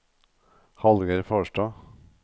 Hallgeir Farstad